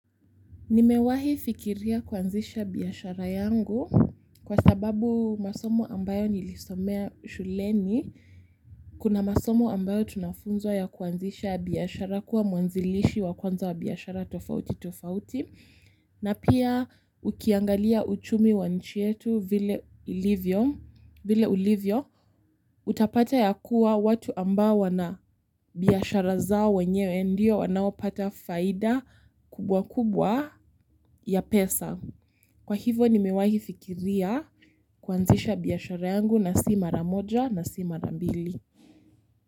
Nimewahi fikiria kuanzisha biashara yangu kwa sababu masomo ambayo nilisomea shuleni. Kuna masomo ambayo tunafunzwa ya kuanzisha biashara kuwa muanzilishi wa kwanza wa biashara tofauti tofauti. Na pia ukiangalia uchumi wa nchi yetu vile ulivyo, utapata ya kuwa watu ambao wana biashara zao wenyewe ndio wanaopata faida kubwa kubwa ya pesa. Kwa hivo nimewahi fikiria kuanzisha biashara yangu na si mara moja na si mara mbili.